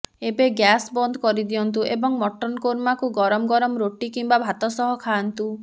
ଏବେ ଗ୍ୟାସ୍ ବନ୍ଦ କରିଦିଅନ୍ତୁ ଏବଂ ମଟନ କୋରମାକୁ ଗରମ ଗରମ ରୋଟି କିମ୍ବା ଭାତ ସହିତ ଖାଆନ୍ତୁ